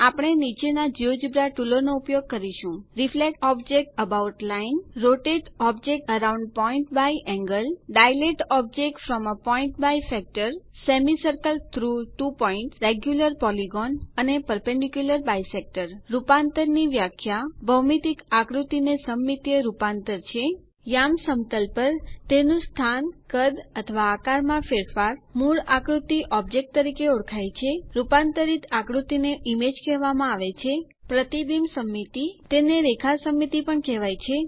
આપણે નીચેના જિયોજેબ્રા ટુલો નો ઉપયોગ કરીશું reflect object about line rotate object around point by angle dilate object from a point by factor semicircle through two points regular polygon અને perpendicular bisector રૂપાંતર ની વ્યાખ્યા ભૌમિતિક આકૃતિ ની સમમિતિય રૂપાંતર છે યામ સમતલ પર તેનું સ્થાન કદ અથવા આકાર માં ફેરફાર મૂળ આકૃતિ ઓબ્જેક્ટ તરીકે ઓળખાય છે રૂપાંતરિત આકૃતિ ને ઈમેજ કહેવામાં આવે છે રિફ્લેક્શન સિમેટ્રી એટલે કે પ્રતિબિંબ સમમિતિ તેને રેખા સમમિતિ પણ કહેવાય છે